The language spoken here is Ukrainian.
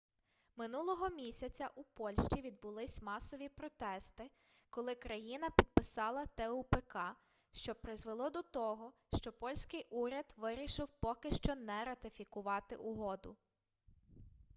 минулого місяця у польщі відбулись масові протести коли країна підписала тупк що призвело до того що польський уряд вирішив поки що не ратифікувати угоду